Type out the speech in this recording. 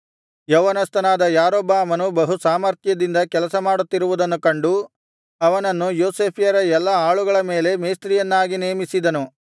ಯೌವನಸ್ಥನಾದ ಯಾರೊಬ್ಬಾಮನು ಬಹು ಸಾಮರ್ಥ್ಯದಿಂದ ಕೆಲಸಮಾಡುತ್ತಿರುವುದನ್ನು ಕಂಡು ಅವನನ್ನು ಯೋಸೇಫ್ಯರ ಎಲ್ಲಾ ಆಳುಗಳ ಮೇಲೆ ಮೇಸ್ತ್ರಿಯನ್ನಾಗಿ ನೇಮಿಸಿದನು